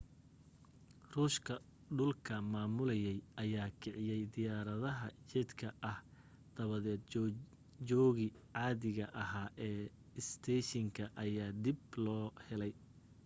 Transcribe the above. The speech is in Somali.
ruushka dhulka maamulayay ayaa kiciya diyaaradaha jedka ah dabadeed joogii caadiga ahaa ee isteeshinka ayaa dib loo helay